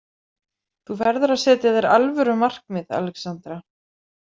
Þú verður að setja þér alvöru markmið, Alexandra.